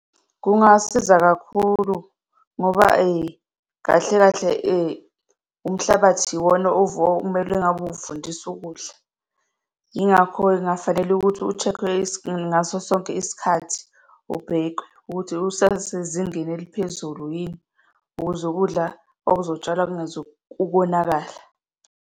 Kungasiza kakhulu ngoba , kahle kahle , umhlabathi iwona okumele ngabe uvundisa ukudla. Yingakho-ke kungafanele ukuthi u-check-we ngaso sonke isikhathi, ubhekwe ukuthi usasezingeni eliphezulu yini, ukuze ukudla okuzotshalwa kungezukonakala.